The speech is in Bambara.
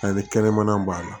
Ani kɛnɛmana b'a la